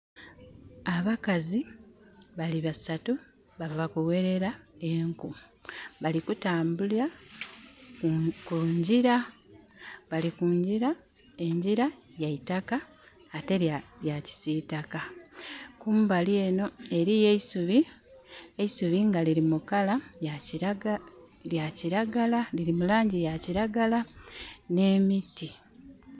Abakazi bali basatu bava kughelera enku. Bali kutambula ku ngyira. Bali kungyira, engyira ya itaka ate ya kisiitaka. Kumbali enho eliyo eisubi, eisubi nga lili mu colour ya kiragala...lili mu laangi ya kiragala. Nh'emiti.